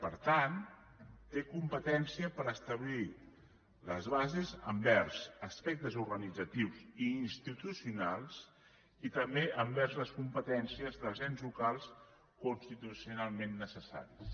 per tant té competència per establir les bases envers aspectes organitzatius i institucionals i també envers les competències dels ens locals constitucionalment necessaris